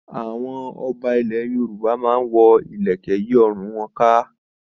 Àwọn ọba ilẹ̀ Yorùbá máa ń wọ ilẹ̀kẹ̀ yí ọrùn wọn ká.